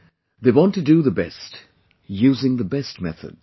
They want to do the best, using the best methods